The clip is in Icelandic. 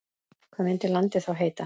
Hvað myndi landið þá heita?